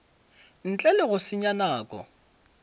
ntle le go senya nako